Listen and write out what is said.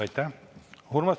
Aitäh!